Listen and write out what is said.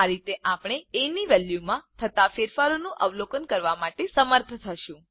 આ રીતે આપણે એ ની વેલ્યુમાં થતા ફેરફારોનું અવલોકન કરવા માટે સમર્થ થતું